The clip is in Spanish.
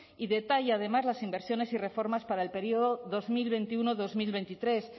y detalla además las inversiones y reformas para el período dos mil veintiuno dos mil veintitrés